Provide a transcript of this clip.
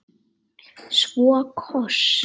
Svo koss.